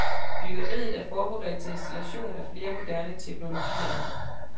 Byggeriet er forberedt til installation af flere moderne teknologier.